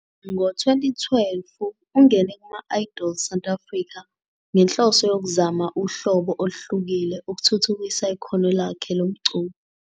Ngo-2012, ungene "kuma- Idols South Africa" ngenhloso yokuzama uhlobo oluhlukile ukuthuthukisa ikhono lakhe lomculo.